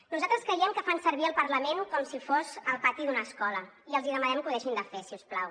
nosaltres creiem que fan servir el parlament com si fos el pati d’una escola i els demanem que ho deixin de fer si us plau